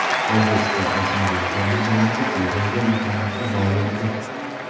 O‘zbekiston o‘smirlar terma jamoasi Chexiyaga imkoniyatni boy berdi.